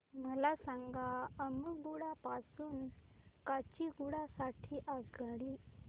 मला सांगा अम्मुगुडा पासून काचीगुडा साठी आगगाडी